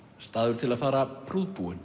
staður til að fara